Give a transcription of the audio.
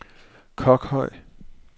Kokhøj